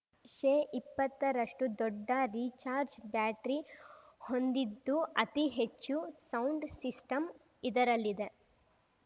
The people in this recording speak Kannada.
ಶೇಇಪ್ಪತ್ತರಷ್ಟುದೊಡ್ಡ ರೀಚಾರ್ಜ್ ಬ್ಯಾಟರಿ ಹೊಂದಿದ್ದು ಅತಿ ಹೆಚ್ಚು ಸೌಂಡ್‌ ಸಿಸ್ಟಂ ಇದರಲ್ಲಿದೆ